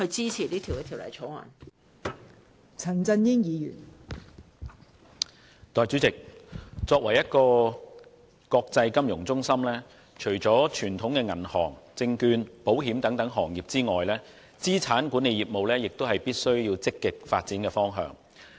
代理主席，香港作為一個國際金融中心，除了傳統的銀行、證券、保險等行業外，資產管理業務亦是必須積極發展的方向。